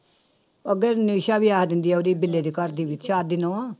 ਅੱਗੇ ਨਿਸਾ ਵੀ ਆ ਜਾਂਦੀ ਆ ਉਹਦੀ ਬਿੱਲੇ ਦੀ ਘਰਦੀ ਵੀ ਦੀ ਨਹੁੰ